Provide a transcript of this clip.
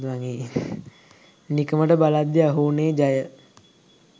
නිකමට බලද්දි අහු උනේ ජය